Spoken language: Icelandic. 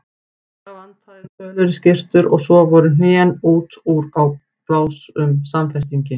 Það vantaði tölur í skyrtur og svo voru hnén út úr á bláum samfestingi.